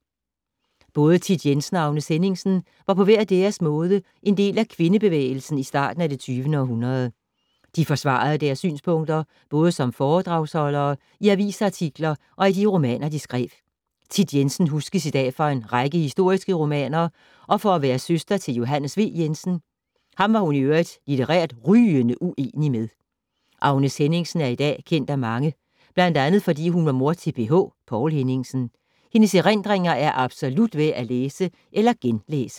Både Thit Jensen og Agnes Henningsen var på hver deres måde en del af kvindebevægelsen i starten af det 20. århundrede. De forsvarede deres synpunkter både som foredragsholdere, i avisartikler og i de romaner, de skrev. Thit Jensen huskes i dag for en række historiske romaner og for at være søster til Johs. V. Jensen. Ham var hun i øvrigt litterært rygende uenig med. Agnes Henningsen er i dag kendt af mange, bl.a. fordi hun var mor til PH, Poul Henningsen. Hendes erindringer er absolut værd at læse eller genlæse.